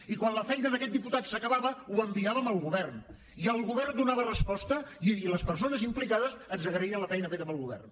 i quan la feina d’aquest diputat s’acabava ho enviàvem al govern i el govern donava resposta i les persones implicades ens agraïen la feina feta pel govern